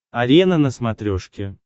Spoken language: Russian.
арена на смотрешке